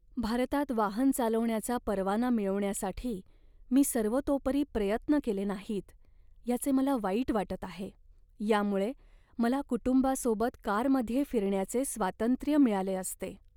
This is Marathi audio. भारतात वाहन चालवण्याचा परवाना मिळवण्यासाठी मी सर्वतोपरी प्रयत्न केले नाहीत याचे मला वाईट वाटत आहे. यामुळे मला कुटुंबासोबत कारमध्ये फिरण्याचे स्वातंत्र्य मिळाले असते.